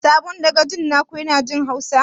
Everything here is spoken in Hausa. Sabon dagacin na ku ya na jin hausa?